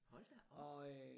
Hold da op!